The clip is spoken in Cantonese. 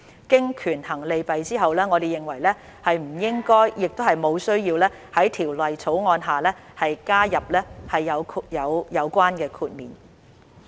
經權衡利弊後，我們認為不應亦無需要在《條例草案》下加入有關豁免。